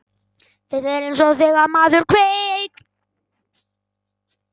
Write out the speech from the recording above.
Þetta er eins og þegar maður kveik